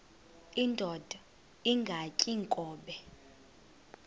indod ingaty iinkobe